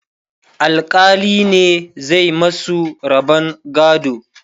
alkali ne zai masu rabon gado